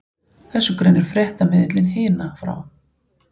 Þessu greinir fréttamiðillinn Hina frá